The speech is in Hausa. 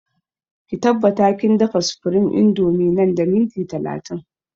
Ki tabbata kin dafa supreme indomie nan da minti talatin!